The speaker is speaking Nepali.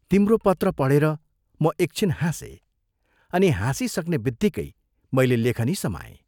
तिम्रो पत्र पढेर म एक छिन हाँसे अनि हाँसिसक्नेबित्तिकै मैले लेखनी समाएँ।